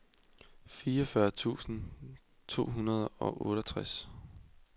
fireogfyrre tusind to hundrede og otteogtres